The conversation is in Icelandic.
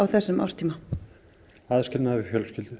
þessum árstíma aðskilnaður við fjölskyldu